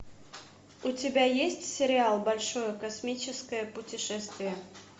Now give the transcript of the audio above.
у тебя есть сериал большое космическое путешествие